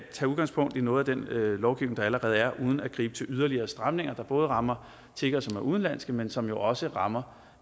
udgangspunkt i noget af den lovgivning der allerede er der uden at gribe til yderligere stramninger der både rammer tiggere som er udenlandske men som jo også rammer